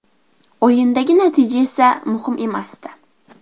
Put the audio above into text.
O‘yindagi natija esa muhim emasdi.